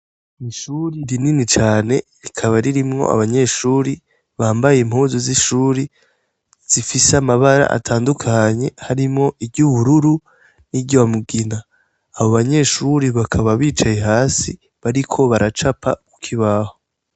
Ishuri rinini cane rikaba ririmwo abanyeshuri bambaye impuzu z'ishuri zifise amabara atandukanye harimwo iry'ubururu nirya mugina abo banyeshuri bakaba bicaye hasi bariko baracapa kuki baho.